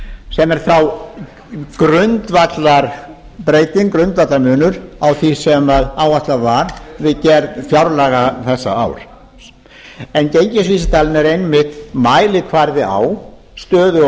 sem er þá grundvallarbreyting grundvallarmunur á því sem áætlað var við gerð fjárlaga þessa árs en gengisvísitalan er einmitt mælikvarði á stöðu og